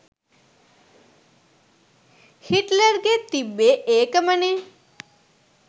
හිට්ලර්ගෙත් තිබ්බෙ ඒකමනෙ